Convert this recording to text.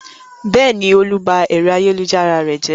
Bẹ́ẹ̀ni, Olú ba ẹ̀rọ ayélujára rẹ jẹ́.